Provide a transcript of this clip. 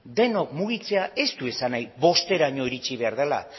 denok mugitzea ez du izan nahi bosteraino iritsi behar dela